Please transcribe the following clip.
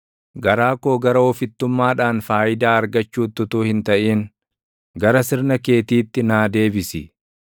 Garaa koo gara ofittummaadhaan faayidaa argachuutti utuu hin taʼin, gara sirna keetiitti naa deebisi.